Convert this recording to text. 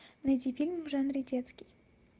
найди фильм в жанре детский